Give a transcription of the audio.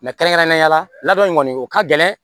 kɛrɛnkɛrɛnnenya la ladon in kɔni o ka gɛlɛn